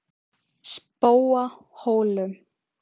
Spóahólum